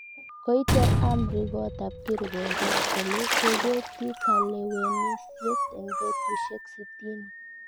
Koicher amri koot ab kirwoget kole kegetyi kalewenisyet eng betusyek sitini